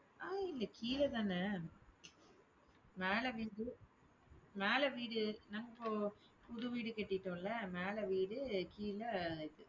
அஹ் இல்ல கீழதான மேல வீடு மேல வீடு, நாங்க இப்போ புது வீடு கட்டிட்டோம்ல மேல வீடு கீழே இது